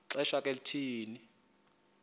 xesha ke thina